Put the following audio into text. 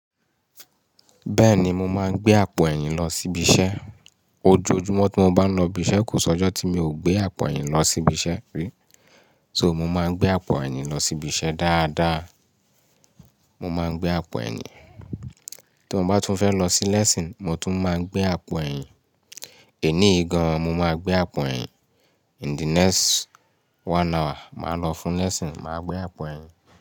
Bẹ́ẹ̀ni, mo máa ń gbé àpò ẹ̀yìn lọ síbi iṣẹ́. Ojoojúmọ́ tí mo bá ń lọ ibiṣẹ́, kò sí ọjọ́ tí mi ò gbé àpò ẹ̀yìn lọ sí ibiṣẹ́ rí. So mo máa ń gbé àpò ẹ̀yìn lọ sí ibiṣẹ́ dáadáa. Mo máa ń gbé àpò ẹ̀yìn. Tí mo bá tún fẹ́ lọ sí lesson, mo tún máa gbé àpò ẹ̀yìn. Èní ìgan, mo máa gbé àpò ẹ̀yìn. In the next one hour, màá lọ fún lẹ́ẹ́sìn, màá gbé àpò ẹ̀yìn.